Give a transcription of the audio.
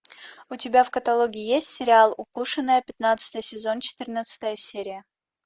у тебя в каталоге есть сериал укушенная пятнадцатый сезон четырнадцатая серия